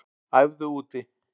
Æfðu úti